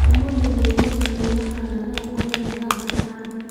ũmũthĩ nĩ ngwenda kuona kana nongome mathaa matano.